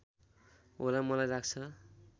होला मलाई लाग्छ